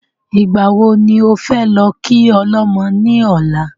Ìgbà wo ni ofẹ́ lọ kí ọlọ́mọ ní ọ̀la?